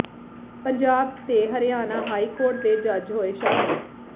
ਪੰਜਾਬ ਤੇ Haryana high court ਦੇ ਜੱਜ ਹੋਏ ਸ਼ਾਮਿਲ